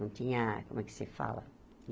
Não tinha, como é que se fala?